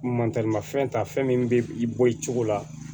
Mantaramafɛn ta fɛn min bɛ i bɔ i cogo la